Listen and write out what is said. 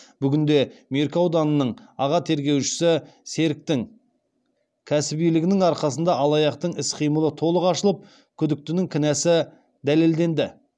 бүгінде меркі ауданының аға тергеушісі серіктің кәсібилігінің арқасында алаяқтың іс қимылы толық ашылып күдіктінің кінәсі дәлелденді